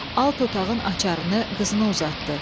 Alt otağın açarını qızına uzatdı.